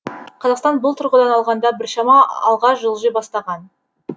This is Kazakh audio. қазақстан бұл тұрғыдан алғанда біршама алға жылжи бастаған